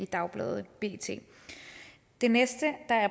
dagbladet bt det næste